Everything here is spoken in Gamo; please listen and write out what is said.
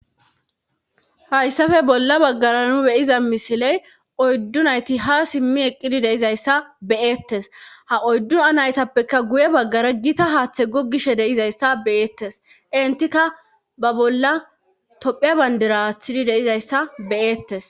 Hayssappe bolla bagara nu be'iza misile oydu nayti ha simi eqqidi de'izayssa be'etees. ha oydu naytappekka guy bagara gita haathe gogishe de'izayssa be'etees.entikka ba bolla tophiya bandira aatizi de'izayssa be'etees.